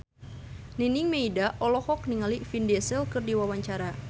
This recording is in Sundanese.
Nining Meida olohok ningali Vin Diesel keur diwawancara